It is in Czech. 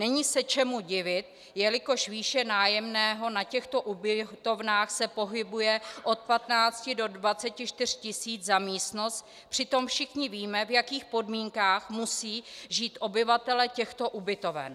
Není se čemu divit, jelikož výše nájemného na těchto ubytovnách se pohybuje od 15 do 24 tis. za místnost, přitom všichni víme, v jakých podmínkách musí žít obyvatelé těchto ubytoven.